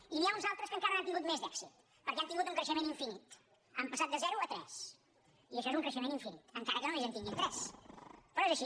i n’hi ha uns altres que encara n’han tingut més d’èxit perquè han tingut un creixement infinit han passat de zero a tres i això és un creixement infinit encara que només en tinguin tres però és així